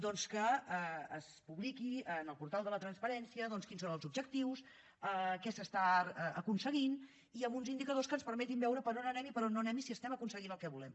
doncs que es publiqui en el portal de la transparència quins són els objectius què s’està aconseguint i amb uns indicadors que ens permetin veure per on anem i per on no anem i si estem aconseguint el que volem